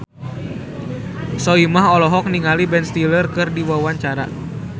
Soimah olohok ningali Ben Stiller keur diwawancara